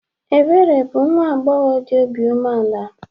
Ebere bụ nwa agbọghọ dị obi umeala.